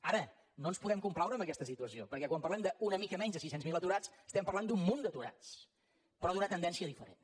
ara no ens podem complaure en aquesta situació perquè quan parlem d’una mica menys de sis cents miler aturats estem parlant d’un munt d’aturats però d’una tendència diferent